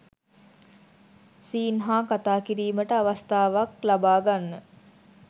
scene හා කතා කිරීමට අවස්ථාවක් ලබා ගන්න